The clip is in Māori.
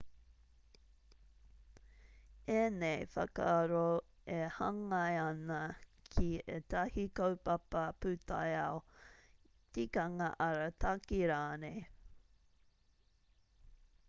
ēnei whakaaro e hāngai ana ki ētahi kaupapa pūtaiao tikanga arataki rānei